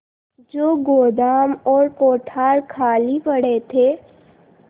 जो गोदाम और कोठार खाली पड़े थे